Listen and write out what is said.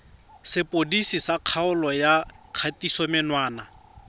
sepodisi sa kgololo ya kgatisomenwa